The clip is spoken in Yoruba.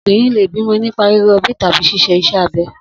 Obìnrin lè bímo̩ nípa ríro̩bí tàbí s̩is̩e is̩é̩ abe̩